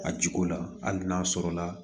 A jiko la hali n'a sɔrɔla